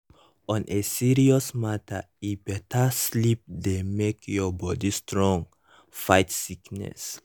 on a serious matter eh better sleep dey make your body strong fight sickness.